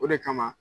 O de kama